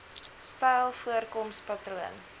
styl voorkoms patroon